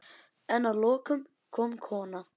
En að lokum kom kona.